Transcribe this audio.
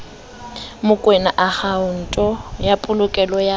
mokoena akhaonto ya polokelo ya